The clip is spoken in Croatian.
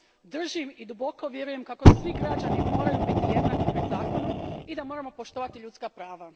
Držim i duboko vjerujem kako svi građani moraju biti jednaki pred zakonom i da moramo poštovati ljudska prava.